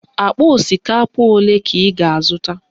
Akpa osikapa ole ka ị ga-azụta?